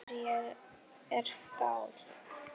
Ekki þegar að er gáð.